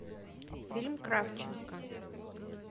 фильм кравченко